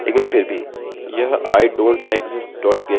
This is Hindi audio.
मुझे इसे समझाने की भी आवश्यकता नहीं है लेकिन फिर भी